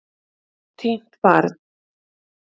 Týnt barn